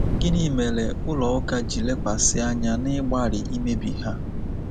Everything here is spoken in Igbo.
Gịnị mere ụlọ ụka ji lekwasị anya n’ịgbalị imebi ha?